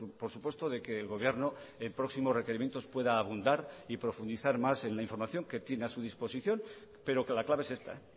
por supuesto de que el gobierno en próximos requerimientos pueda abundar y profundizar más en la información que tiene a su disposición pero que la clave es esta